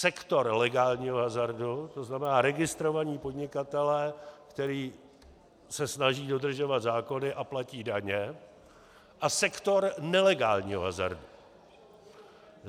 Sektor legálního hazardu, to znamená registrovaní podnikatelé, kteří se snaží dodržovat zákony a platí daně, a sektor nelegálního hazardu.